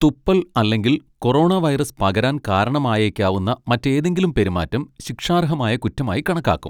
തുപ്പൽ അല്ലെങ്കിൽ corona virus പകരാൻ കാരണമായേക്കാവുന്ന മറ്റേതെങ്കിലും പെരുമാറ്റം ശിക്ഷാർഹമായ കുറ്റമായി കണക്കാക്കും.